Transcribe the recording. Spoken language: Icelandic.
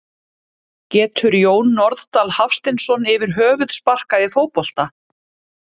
Getur Jón Norðdal Hafsteinsson yfir höfuð sparkað í fótbolta?